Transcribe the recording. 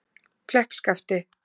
Kleppskafti